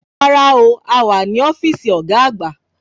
Rárá o, a wà ní ọ́fíìsì ọ̀gá àgbà